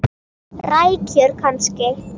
Rækjur kannski?